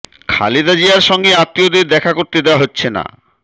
খালেদা জিয়ার সঙ্গে আত্মীয়দের দেখা করতে দেওয়া হচ্ছে না